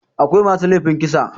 akwai masu laifin kisa